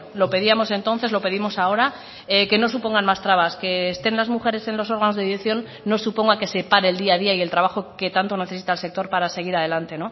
lo pedíamos entonces lo pedimos ahora que no supongan más trabas que estén las mujeres en los órganos de dirección no suponga que se pare el día a día y el trabajo que tanto necesita el sector para seguir adelante